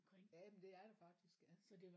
Jamen det er der faktisk ja